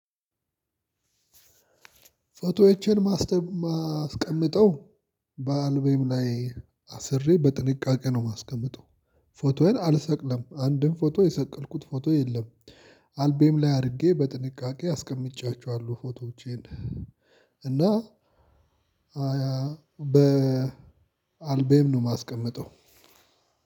ፎቶዎችን ማስቀምጠው በአልቤም ላይ አስሬ በጥንቃቄ ነው የማስቀምጠው ፎቶዬን አልሰቅለም አንድም ፎቶ የሰቀልኩት ፎቶ የለም። አልቤም ላይ አድርጌ በጥንቃቄ አስቀምጫቸዋለሁ ፎቶዎቼን። እና በአልቤም ነው የማስቀምጠው።